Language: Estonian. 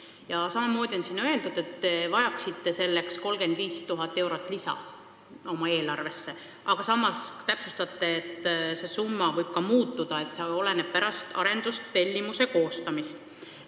Ja veel on siin öeldud, et te vajaksite selleks 35 000 lisaeurot oma eelarvesse, aga samas täpsustate, et see summa võib ka muutuda – see selgub pärast arendustellimuse koostamist.